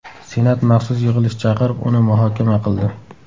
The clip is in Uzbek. Senat maxsus yig‘ilish chaqirib, uni muhokama qildi .